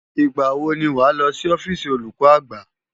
Ìgbà wo ni wàá lọ sí ọ́fíìsì olùkọ́ àgbà?